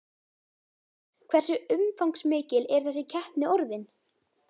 Hversu umfangsmikil er þessi keppni orðin?